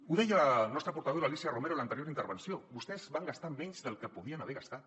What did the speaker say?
ho deia la nostra portaveu l’alícia romero en l’anterior intervenció vostès van gastar menys del que podien haver gastat